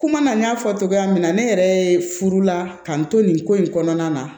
Kuma na n y'a fɔ cogoya min na ne yɛrɛ ye furu la k'an to nin ko in kɔnɔna na